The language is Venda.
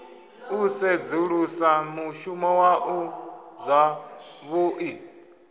u sedzulusa mushumo waṋu zwavhuḓi